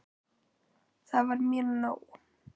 Það var mér nóg.